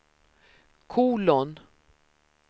kolon